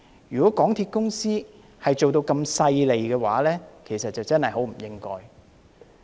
如果港鐵公司是如此勢利的話，便真的很不應該。